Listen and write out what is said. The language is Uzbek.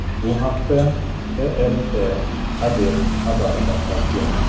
Bu haqda TRT Haber xabar tarqatgan .